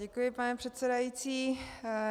Děkuji, pane předsedající.